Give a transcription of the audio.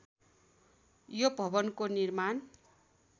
यो भवनको निर्माण